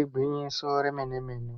Igwinyiso remenemene